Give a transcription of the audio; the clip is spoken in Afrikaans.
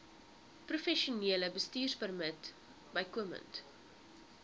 professionele bestuurpermit bykomend